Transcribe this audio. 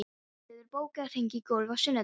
Jófríður, bókaðu hring í golf á sunnudaginn.